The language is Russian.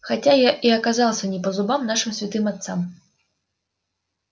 хотя я и оказался не по зубам нашим святым отцам